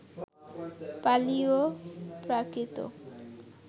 পালি ও প্রাকৃত